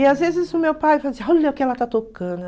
E às vezes o meu pai olha o que ela está tocando.